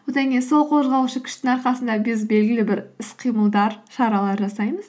одан кейін сол қозғаушы күштің арқасында біз белгілі бір іс қимылдар шаралар жасаймыз